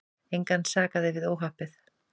Engan sakaði við óhappið.